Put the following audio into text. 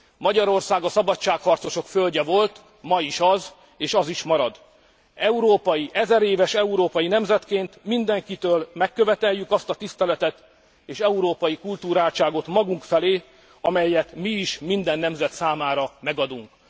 Magyarország a szabadságharcosok földje volt, ma is az, és az is marad. 1000 éves európai nemzetként mindenkitől megköveteljük azt a tiszteletet és európai kulturáltságot magunk felé, amelyet mi is minden nemzet számára megadunk.